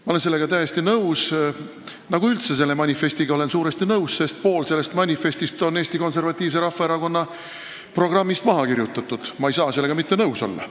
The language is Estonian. Ma olen üldse selle manifestiga suuresti nõus, sest pool sellest on Eesti Konservatiivse Rahvaerakonna programmist maha kirjutatud ning ma ei saa sellega mitte nõus olla.